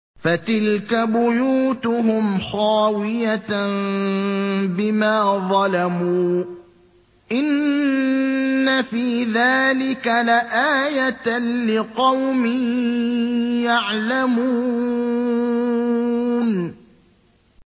فَتِلْكَ بُيُوتُهُمْ خَاوِيَةً بِمَا ظَلَمُوا ۗ إِنَّ فِي ذَٰلِكَ لَآيَةً لِّقَوْمٍ يَعْلَمُونَ